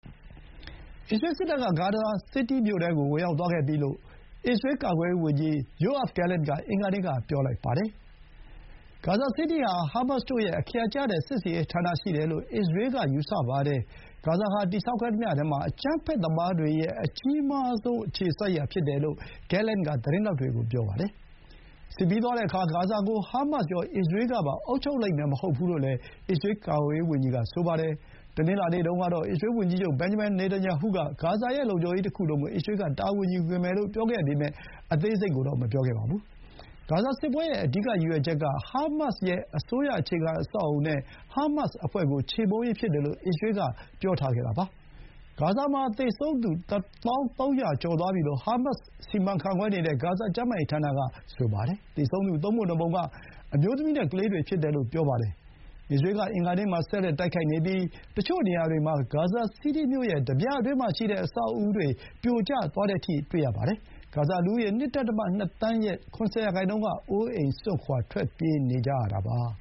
အစ္စရေးစစ်တပ်က ဂါဇာစီးတီးမြို့ထဲကို ဝင်ရောက်သွားခဲ့ပြီလို့ အစ္စရေးကာကွယ်ရေးဝန်ကြီး ယိုအာ့ဗ် ဂဲလင့်န်က အင်္ဂါနေ့က ပြောပါတယ်။ ဂါဇာစီးတီးဟာ ဟားမတ်စ်တို့ရဲ့ အခရာကျတဲ့ စစ်ဆင်ရေးဌာနရှိတယ်လို့ အစ္စရေးက ယူဆပါတယ်။ ဂါဇာဟာ တည်ဆောက်ခဲ့သမျှ အကြီးမားဆုံး အကြမ်းဖက်သမားတွေ ရဲ့ အခြေစိုက်ရာဖြစ်တယ်လို့ ဂဲလင့်န်က သတင်းထောက်တွေကို ပြောပါတယ်။ စစ်ပြီးသွားတဲ့အခါ ဂါဇာကို ဟားမတ်စ်ရော၊ အစ္စရေးကပါ အုပ်ချုပ်လိမ့်မယ် မဟုတ်ဘူးလို့လည်း အစ္စရေးကာကွယ်ရေးဝန်ကြီးက ဆိုပါတယ်။ တနင်္လာနေ့တုန်းကတော့ အစ္စရေးဝန်ကြီးချုပ် ဘင်န်ဂျမင်န် နာတန်ယာဟုက ဂါဇာရဲ့ လုံခြုံရေးတခုလုံးကို အစ္စရေးက တာဝန်ယူမယ်လို့ပြောခဲ့ပေမဲ့ အသေးစိတ်ကိုတော့ မပြောခဲ့ပါဘူး။ ဂါဇာစစ်ပွဲရဲ့ အဓိက ရည်ရွယ်ချက်က ဟားမတ်စ်ရဲ့ အစိုးရအခြေခံအဆောက်အအုံနဲ့ ဟားမတ်စ်အဖွဲ့ကို ချေမှုန်းရေး ဖြစ်တယ်လို့ အစ္စရေးက ပြောထားတာပါ။ ဂါဇာမှာ သေဆုံးသူ ၁၀,၃၀၀ ကျော်သွားပြီလို့ ဟားမတ်စ် စီမံခန့်ခွဲနေတဲ့ ဂါဇာကျန်းမာရေးဌာန က ဆိုပါတယ်။ သေဆုံးသူ သုံးပုံနှစ်ပုံက အမျိုးသမီးနဲ့ ကလေးတွေဖြစ်တယ်လို့ ပြောပါတယ်။ အစ္စရေးက အင်္ဂါနေ့မှာ ဆက်လက် တိုက်ခိုက်နေပြီး တချို့နေရာတွေမှာ ဂါဇာစီးတီးမြို့ရဲ့ တပြအတွင်းရှိ အဆောက်အဦးတွေ ပြိုကျသွားကြပါတယ်။ ဂါဇာလူဦးရေ ၂.၂ သန်း ရဲ့ ၇၀ ရာနှုန်းက အိုးအိမ်စွန့်ခွါ ထွက်ပြေးနေကြရပါ